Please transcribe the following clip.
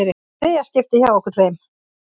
Þriðja skiptið hjá okkur tveim.